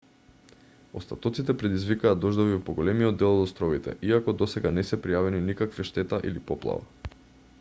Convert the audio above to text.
остатоците предизвикаа дождови во поголемиот дел од островите иако досега не се пријавени никаква штета или поплава